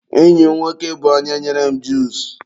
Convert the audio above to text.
enyi m nwoke bụ onye nyere m juusu.